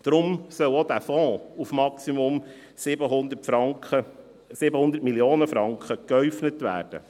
Deshalb soll der Fonds auf Maximum 700 Mio. Franken geäufnet werden.